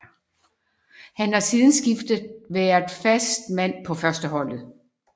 Han har siden skiftet været fast mand på førsteholdet